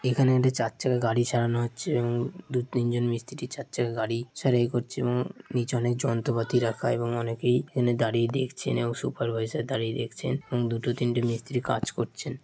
এখানে একটি চার চাকা গাড়ি সারানো হচ্ছে এবং দু তিন জন মিস্ত্রি চার চাকা গাড়ি সাড়াই করছে এবং নীচে অনেক যন্ত্রপাতি রাখা এবং অনেকেই এখানে দাঁড়িয়ে দেখছেন এবং সুপারভাইজার দাঁড়িয়ে দেখছেন এবং দুটো তিনটে মিস্ত্রী কাজ করছেন।